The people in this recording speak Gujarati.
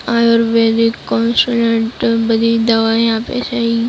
આયુર્વેદિક બધી દવાઈ છે ઈ.